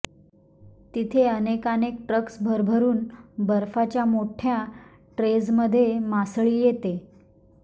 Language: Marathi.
तिथे अनेकानेक ट्रक्स भरभरून बर्फाच्या मोठ्ठ्या ट्रेजमधून मासळी येते